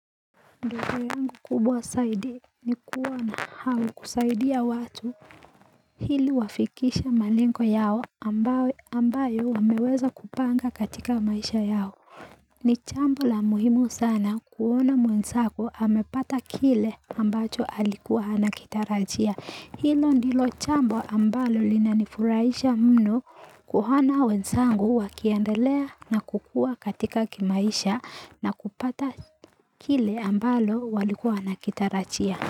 Ndoto yangu kubwa saidi ni kuwa na au kusaidia watu hili wafikishe malengo yao ambayo wameweza kupanga katika maisha yao ni jambo la muhimu sana kuona mwenzako amepata kile ambacho alikuwa anakitarajia hilo ndilo jambo ambalo linanifurahisha mno kuona wensangu wakiendelea na kukua katika kimaisha na kupata kile ambalo walikuwa wanakitarajia.